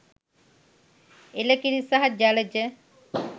එල කිරි සහ ජලජ